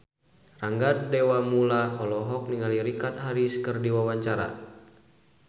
Rangga Dewamoela olohok ningali Richard Harris keur diwawancara